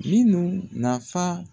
Minun nafa.